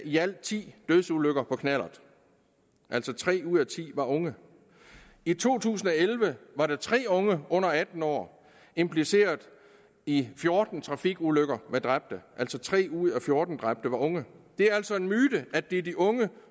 i alt ti dødsulykker på knallert altså tre ud af ti var unge i to tusind og elleve var der tre unge under atten år impliceret i fjorten trafikulykker med dræbte altså tre ud af fjorten dræbte var unge det er altså en myte at det er de unge